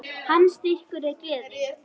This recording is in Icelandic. Hans styrkur er gleðin.